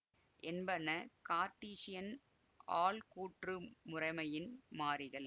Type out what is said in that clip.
என்பன கார்ட்டீசியன் ஆள்கூற்று முறைமையின் மாறிகள்